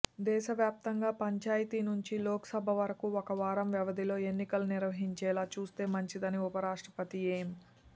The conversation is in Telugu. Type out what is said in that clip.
దేశవ్యాప్తంగా పంచాయతీ నుంచి లోక్సభ వరకు ఒక వారం వ్యవధిలో ఎన్నికలు నిర్వహించేలా చూస్తే మంచిదని ఉపరాష్ట్రపతి ఎం